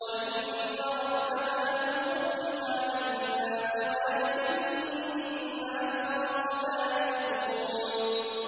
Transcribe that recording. وَإِنَّ رَبَّكَ لَذُو فَضْلٍ عَلَى النَّاسِ وَلَٰكِنَّ أَكْثَرَهُمْ لَا يَشْكُرُونَ